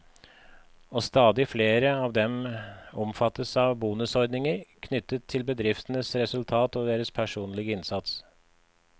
Og stadig flere av dem omfattes av bonusordninger, knyttet både til bedriftens resultat og deres personlige innsats.